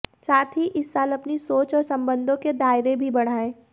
साथ ही इस साल अपनी सोच और संबंधों के दायरे भी बढ़ाएं